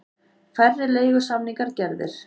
Færri leigusamningar gerðir